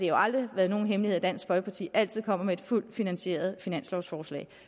jo aldrig været nogen hemmelighed at dansk folkeparti altid kommer med et fuldt finansieret finanslovsforslag